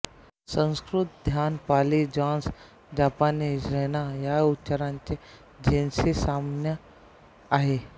संस्कृत ध्यान पाली ज्झान जपानी झेन्ना या उच्चारांचे झेनशी साम्य आहे